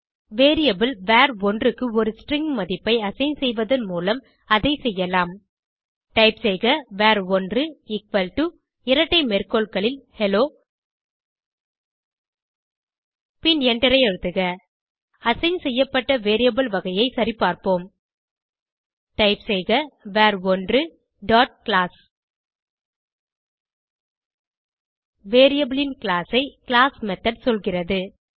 variable வர்1 க்கு ஒரு ஸ்ட்ரிங் மதிப்பை அசைன் செய்வதன் மூலம் அதை செய்யலம் டைப் செய்க வர்1 எக்குவல் டோ இரட்டை மேற்கோள்களில் ஹெல்லோ பின் எண்டரை அழுத்துக அசைன் செய்யப்பட்ட வேரியபிள் வகையை சரிபார்ப்போம் டைப் செய்க வர்1 டாட் கிளாஸ் வேரியபிள் ன் கிளாஸ் ஐ கிளாஸ் மெத்தோட் சொல்கிறது